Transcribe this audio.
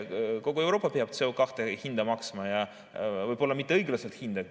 Kogu Euroopa peab CO2 hinda maksma ja võib-olla mitte õiglast hinda.